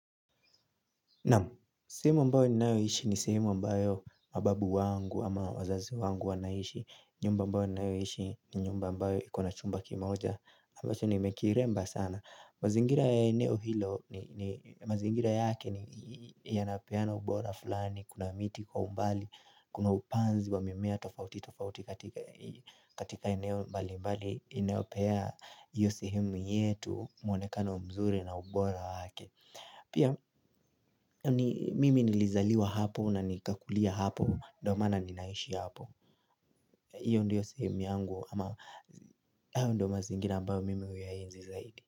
Naam, sehemu ambayo ninayoishi ni sehemu ambayo mababu wangu ama wazazi wangu wanaishi nyumba ambao ninayoishi ni nyumba ambayo ikona chumba kimoja ambacho nimekiremba sana mazingira ya eneo hilo, mazingira yake ni yanapeana ubora fulani Kuna miti kwa umbali, kuna upanzi wa mimea tofauti tofauti katika eneo mbali mbali inayopea hiyo sehemu yetu mwonekano mzuri na ubora wake Pia mimi nilizaliwa hapo na nikakulia hapo Ndio maana ninaishi hapo Iyo ndio sehemu yangu ama hayo ndio mazingira ambayo mimi huyaenzi zaidi.